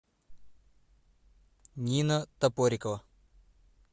нина топорикова